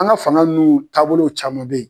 An ga fanga minnu taabolo caman be yen